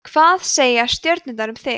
hvað segja stjörnurnar um þig